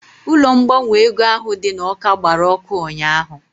Ụlọ ngbanwe ego ahụ dị n'Awka gbara ọkụ ụnyaahụ